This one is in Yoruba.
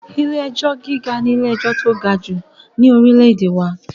Ilé-ẹjọ gíga ní ilé-ẹjọ tí o ga jù ni orílè-èdè wà